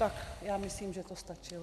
Tak já myslím, že to stačilo.